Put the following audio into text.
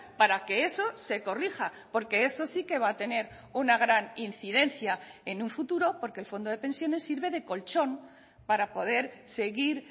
para que eso se corrija porque eso sí que va a tener una gran incidencia en un futuro porque el fondo de pensiones sirve de colchón para poder seguir